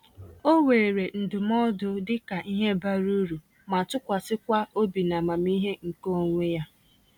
Ọ weere ndụmọdụ dịka ihe bara uru, ma tụkwasịkwa obi na amamihe nke onwe ya.